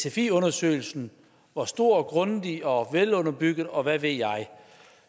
at sfi undersøgelsen var stor grundig og velunderbygget og hvad ved jeg